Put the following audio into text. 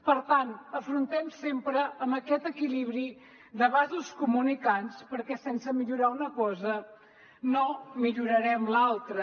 per tant afrontem sempre amb aquest equilibri de vasos comunicants perquè sense millorar una cosa no millorarem l’altra